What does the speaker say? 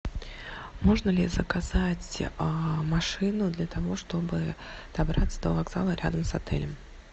можно ли заказать машину для того чтобы добраться до вокзала рядом с отелем